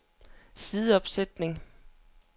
sideopsætning